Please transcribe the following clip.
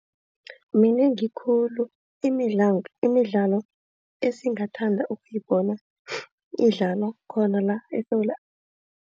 Minengi khulu imidlalo esingathanda ukuyibona idlalwa khona la eSewula.